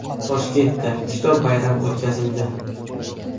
Toshkentda Kitob bayrami o‘tkazildi .